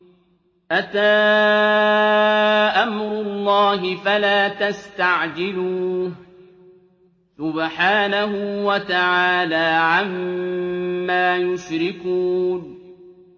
أَتَىٰ أَمْرُ اللَّهِ فَلَا تَسْتَعْجِلُوهُ ۚ سُبْحَانَهُ وَتَعَالَىٰ عَمَّا يُشْرِكُونَ